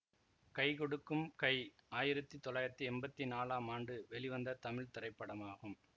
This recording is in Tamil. கை கொடுக்கும் கை ஆயிரத்தி தொள்ளாயிரத்தி எம்பத்தி நாலாம் ஆண்டு வெளிவந்த தமிழ் திரைப்படமாகும்